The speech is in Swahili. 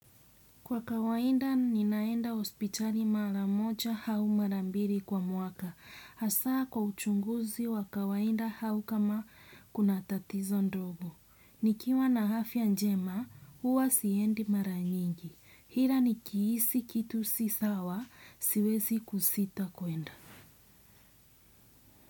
Kwa kawaida ninaenda hospitali mara moja au mara mbili kwa mwaka. Hasa kwa uchunguzi wa kawaida au kama kuna tatizo ndogo. Nikiwa na afya njema, huwa siendi mara nyingi. Ila nikihisi kitu si sawa, siwezi kusita kwenda.